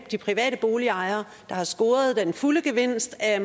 de private boligejere der har scoret den fulde gevinst af